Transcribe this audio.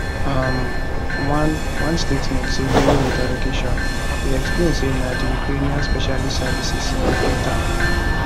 um one one statement say during interrogation e explain say na di ukrainian special services recruit am